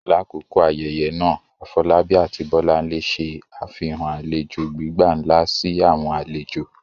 Lakoko ayẹyẹ naa, Afolabi ati Bolanle ṣe afihan alejo gbigba nla si awọn alejo.